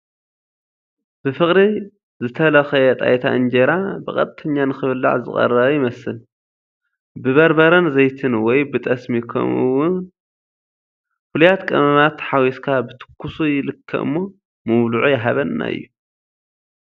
ብፍቕሪ ዝተተለኸየ ጣይታ እንጀራ ብቃጠኛ ንኽብላዕ ዝተቐረበ ይመስል፡፡ ብበርበረን ዘይትን ወይ ብጠስሚ ከምኡ ውን ፉሉያት ቀመማት ሓዊስካ ብትኩሱ ይልከ እሞ ምብልዑ ይሃበና እዩ፡፡